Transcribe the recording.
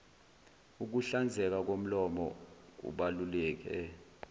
ukuhlanzeka komlomo kubaluleke